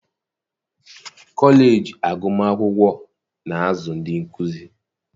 kọleji agụmakwụkwọ na-azụ ndị nkụzi